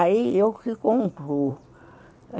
Aí eu que concluo.